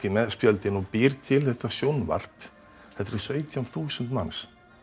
með spjöldin og býr til þetta sjónvarp þetta eru sautján þúsund manns